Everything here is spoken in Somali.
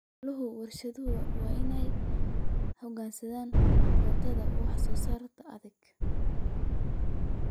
Hawlaha warshaduhu waa inay u hoggaansamaan kootada wax soo saarka ee adag.